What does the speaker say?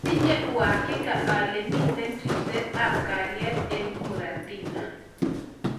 Atinye uhakika ale mitei ripset ap kaliet eng muratina